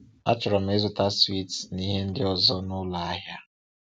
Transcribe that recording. Achọrọ m ịzụta swiiti na ihe ndị ọzọ n’ụlọ ahịa.